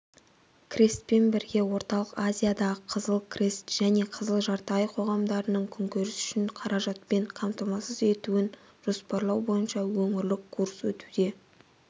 крестпен бірге орталық азиядағы қызыл крест және қызыл жарты ай қоғамдарының күнкөрісі үшін қаражатпен қамтамасыз етуін жоспарлау бойынша өңірлік курс өтуде